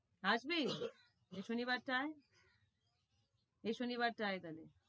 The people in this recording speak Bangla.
আসবি? এই শনি বারটা আয় শনি বারটা আয় তাহলে।